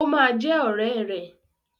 Ó ma jẹ́ ọ̀rẹ́ ẹ̀.